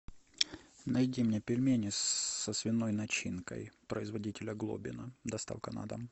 найди мне пельмени со свиной начинкой производителя глобино доставка на дом